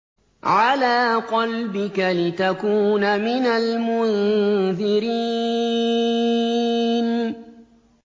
عَلَىٰ قَلْبِكَ لِتَكُونَ مِنَ الْمُنذِرِينَ